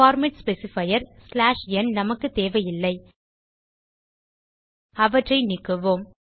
format specifier ந் நமக்கு தேவையில்லை அவற்றை நீக்குவோம்